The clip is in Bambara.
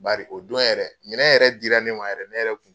Bari o don yɛrɛ minɛn yɛrɛ dira ne ma yɛrɛ ne yɛrɛ kun